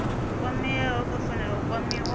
kwameaho vha fanela u kwamiwa